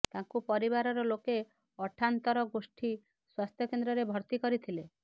ତାଙ୍କୁ ପରିବାର ଲୋକେ ଅଠାନ୍ତର ଗୋଷ୍ଠୀ ସ୍ବାସ୍ଥ୍ୟକେନ୍ଦ୍ରରେ ଭର୍ତ୍ତି କରିଥିଲେ